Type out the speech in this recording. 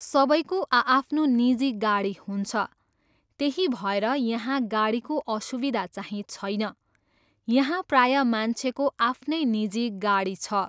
सबैको आआफ्नो निजी गाडी हुन्छ, त्यही भएर यहाँ गाडीको असुविधा चाहिँ छैन, यहाँ प्रायः मान्छेको आफ्नै निजी गाडी छ।